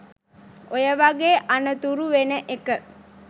ඔය වගේ අනතුරු වෙන එක